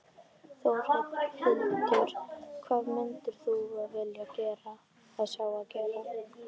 Þórhildur: Hvað myndir þú vilja sjá gerast?